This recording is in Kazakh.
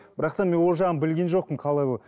бірақ та мен ол жағын білген жоқпын қалай болады